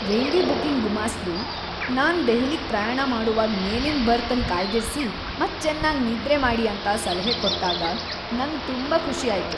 Railway booking ಗುಮಾಸ್ತ್ರು ನಾನ್ ದೆಹಲಿಗೆ ಪ್ರಯಾಣ ಮಾಡೋವಾಗ್ ಮೇಲಿನ ಬರ್ತ್ ಅನ್ ಕಾಯ್ದಿರಿಸಿ ಮತ್ ಚೆನ್ನಾಗಿ ನಿದ್ರೆ ಮಾಡಿ ಅಂತ ಸಲಹೆ ಕೊಟ್ಟಾಗ್ ನಂಗ್ ತುಂಬಾ ಖುಷಿ ಆಯ್ತು.